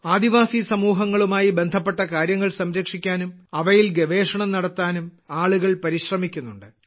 ആദിവാസി സമൂഹങ്ങളുമായി ബന്ധപ്പെട്ട കാര്യങ്ങൾ സംരക്ഷിക്കാനും അവയിൽ ഗവേഷണം നടത്താനും ആളുകൾ പരിശ്രമിക്കുന്നുണ്ട്